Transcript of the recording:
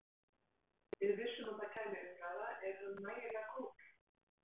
Við vissum að það kæmi umræða- er hann nægilega góður?